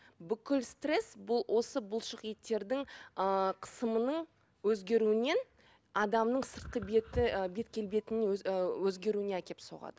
бүкіл стресс бұл осы бұлшық еттердің ыыы қысымының өзгеруінен адамның сыртқы беті ы бет келбетінің ы өзгеруіне әкеліп соғады